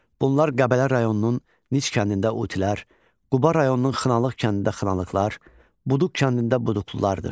Bunlar Qəbələ rayonunun Nic kəndində utilər, Quba rayonunun Xınalıq kəndində Xınalıqlar, Buduq kəndində Buduqlulardır.